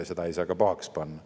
Seda ei saa ka pahaks panna.